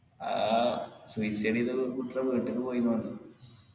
ആ വീട്ട്ക്ക് പോയിന്നു പറഞ്ഞ്